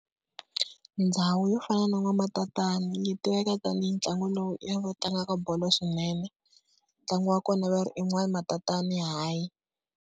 Ndhawu yo fana na N'waMatatani yi tiveka tanihi ntlangu lowu i ya lava tlangaka bolo swinene. Ntlangu wa kona va ri i N'waMatatani High.